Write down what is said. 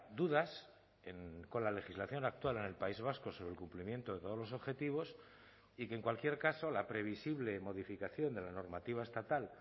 dudas con la legislación actual en el país vasco sobre el cumplimiento de todos los objetivos y que en cualquier caso la previsible modificación de la normativa estatal